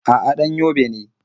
A'a, ɗan Yobe ne.